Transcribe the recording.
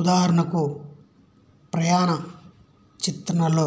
ఉదాహరణకు ప్రణయ చిత్రణలో